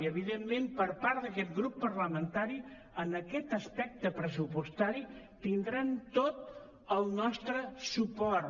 i evidentment per part d’aquest grup parlamentari en aquest aspecte pressupostari tindran tot el nostre suport